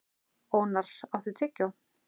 Ónarr, áttu tyggjó?